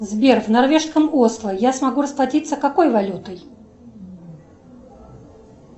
сбер в норвежском осло я смогу расплатиться какой валютой